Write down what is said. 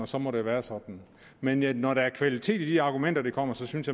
så må være være sådan men når der er kvalitet i de argumenter der kommer så synes